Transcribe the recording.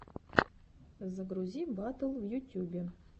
загрузи батл в ютюбе